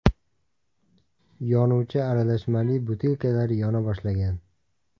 Yonuvchi aralashmali butilkalar yona boshlagan.